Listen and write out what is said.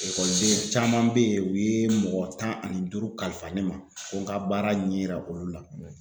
Ekɔliden caman bɛ yen u ye mɔgɔ tan ani duuru kalifa ne ma ko n ka baara ɲɛ yira olu la